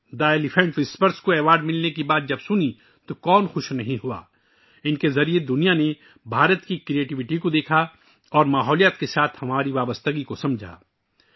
'دی elephant whisperers' کے اعزاز کی بات سنی تو کون خوش نہیں ہوا؟ ان کے ذریعے دنیا نے ہندوستان کی تخلیقی صلاحیتوں کو دیکھا اور ماحولیات کے ساتھ ہمارے تعلق کو سمجھا